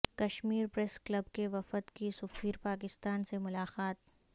Kashmir press club کے وفد کی سفیر پاکستان سے ملاقات